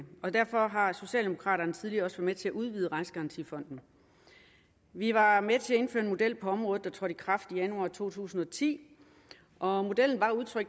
og derfor har socialdemokraterne tidligere også været med til at udvide rejsegarantifonden vi var med til at indføre en model på området der trådte i kraft i januar to tusind og ti og modellen var